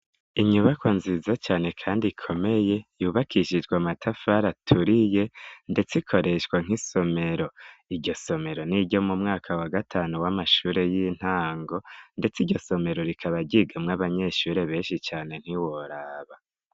Inyubako nziza cane kandi ikomeye yubakishijwe amatafari aturiye, ndetse ikoreshwa nk'isomero, iryo somero, n'iryo mu mwaka wa gatanu w'amashuri y'intango, ndetse iryo somero rikaba ryigamwo abanyeshure benshi cane ntiworaba!